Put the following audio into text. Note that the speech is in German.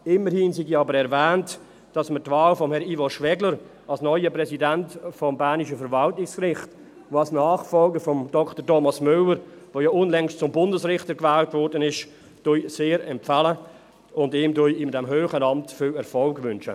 Immerhin sei aber erwähnt, dass wir die Wahl von Herrn Ivo Schwegler als neuen Präsidenten des bernischen Verwaltungsgerichts und als Nachfolger von Dr. Thomas Müller, der ja unlängst zum Bundesrichter gewählt wurde, sehr empfehlen und ihm in diesem hohen Amt viel Erfolg wünschen.